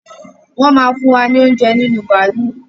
Wọn máa fún wa ní oúnjẹ nínú bàálú